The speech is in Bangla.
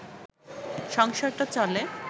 সংসারটা চলে